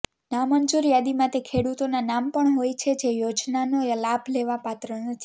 નામંજૂર યાદીમાં તે ખેડુતોનાં નામ પણ હોય છે જે યોજનાનો લાભ લેવા પાત્ર નથી